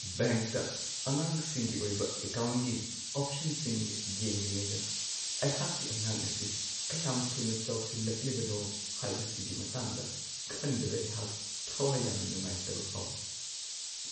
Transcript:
ꯕꯦꯡꯛꯇ ꯑꯉꯥꯡꯁꯤꯡꯒꯤ ꯑꯣꯏꯕ ꯑꯦꯀꯥꯎꯟꯒꯤ ꯑꯣꯞꯁꯟꯁꯤꯡ ꯌꯦꯡꯂꯤꯉꯩꯗ ꯑꯩꯍꯥꯛꯀꯤ ꯑꯉꯥꯡ ꯑꯁꯤ ꯀꯌꯥꯝ ꯊꯨꯅ ꯆꯥꯎꯁꯤꯜꯂꯛꯂꯤꯕꯅꯣ ꯍꯥꯏꯕꯁꯤꯒꯤ ꯃꯇꯥꯡꯗ ꯈꯟꯕꯗ ꯑꯩꯍꯥꯛ ꯊꯋꯥꯏ ꯌꯥꯝꯅ ꯅꯨꯡꯉꯥꯏꯇꯕ ꯐꯥꯎꯋꯤ ꯫